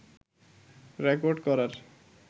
record করার